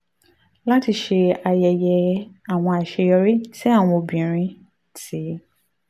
láti ṣe ayẹyẹ àwọn àṣeyọrí tí àwọn obìnrin ti